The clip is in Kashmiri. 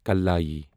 کلایی